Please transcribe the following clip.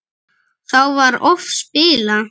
Þá var oft spilað.